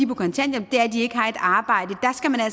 på kontanthjælp er at de ikke har et arbejde